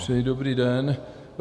Přeji dobrý den.